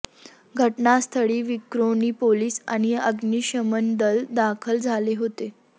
घटनास्थळी विक्रोळी पोलीस आणि अग्निशमन दल दाखल झाले होते